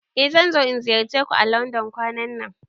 Eh zan zo in ziyarce ku à Landon kwanan nan.